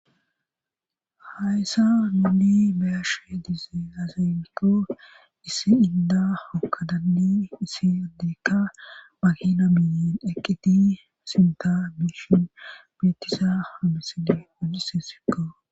Hayssa nuni bayashe diizee azafikko issi inda hokadanni issi addiikka bagina miyen eqqiti sinta biishin bitisa hamisile wodise sikko